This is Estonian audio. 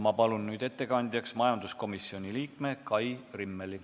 Palun nüüd ettekandjaks majanduskomisjoni liikme Kai Rimmeli.